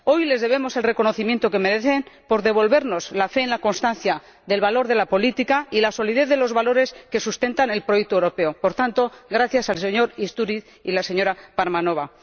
Hoy les debemos el reconocimiento que merecen por devolvernos la fe en la constancia del valor de la política y la solidez de los valores que sustentan el proyecto europeo. Por tanto, gracias al señor López Istúriz y a la señora Parvanova.